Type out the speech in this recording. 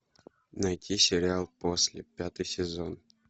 найти сериал после пятый сезон